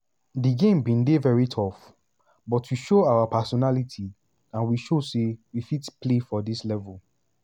"di game bin dey very tough but we show our personality and we show say we fit play for dis level."